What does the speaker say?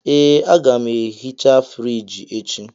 Ee, m ga-ehicha friji echi.